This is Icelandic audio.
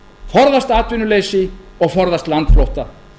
forðast atvinnuleysi og forðast landflótta